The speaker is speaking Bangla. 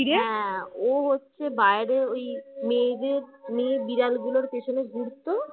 ও হচ্ছে বাইরে ওই মেয়েদের মেয়ে বিড়াল গুলোর পিছনে ঘুরতো